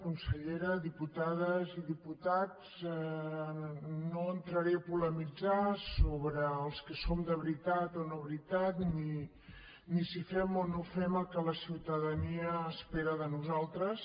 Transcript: consellera diputades i diputats no entraré a polemitzar sobre els que som de veritat o no de veritat ni si fem o no fem el que la ciutadania espera de nosaltres